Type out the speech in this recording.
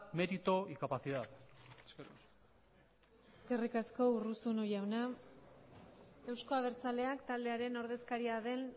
mérito y capacidad eskerrik asko eskerrik asko urruzuno jauna euzko abertzaleak taldearen ordezkaria den